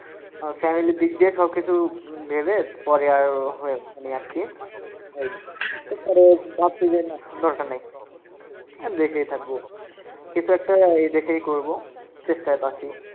আহ family -র দিক দিয়ে সব কিছু ভেবে পরে আর হয়ে ওঠেনি আর কি এই ভাবছি যে না দরকার নেই আহ দেশেই থাকব কিছু একটা এই দেশেই করবো, চেষ্টায় তো আসি।